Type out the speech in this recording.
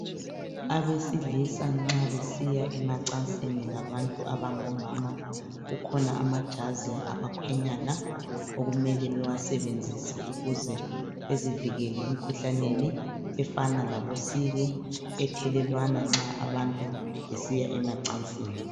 Abesilisa nxa besiya emacansini labantu abangomama kukhona amajazi abakhwenyana okumele bewasebenzise ukuze bezivikele emkhuhlaneni efana labo siki ethelelwana nxa abantu besiya emacansini.